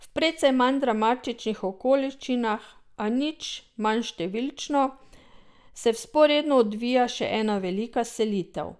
V precej manj dramatičnih okoliščinah, a nič manj številčno, se vzporedno odvija še ena velika selitev.